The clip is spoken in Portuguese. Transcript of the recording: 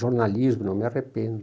Jornalismo, não me arrependo.